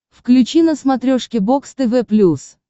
включи на смотрешке бокс тв плюс